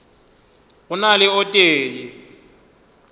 go na le o tee